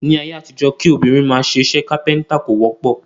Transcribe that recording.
Ní ayé àtijọ́, kí obìnrin máa ṣe iṣẹ́ kápẹ́ntà kò wọ́pọ̀